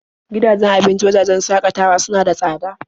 Gidajen abincin wajajen shakatawa suna da tsada.